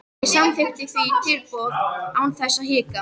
Ég samþykkti því tilboðið án þess að hika.